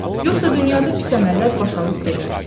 Yoxsa dünyada pis əməllər baş alıb gedər.